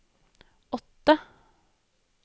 åtte